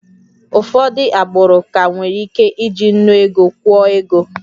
Ụfọdụ agbụrụ ka nwere ike iji nnu ego kwụọ ego